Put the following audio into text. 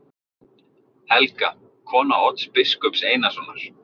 Helga, kona Odds biskups Einarssonar.